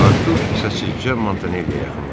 Artur səssizcə Montanelliyə yaxınlaşdı.